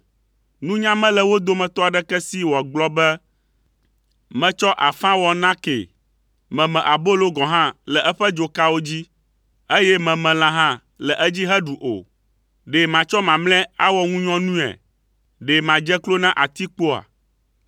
Nunya mele wo dometɔ aɖeke si wòagblɔ be, “Metsɔ afã wɔ nakee. Meme abolo gɔ̃ hã le eƒe dzokawo dzi, eye meme lã hã le edzi heɖu o. Ɖe matsɔ mamlɛa awɔ ŋunyɔnuea? Ɖe madze klo na atikpoa.”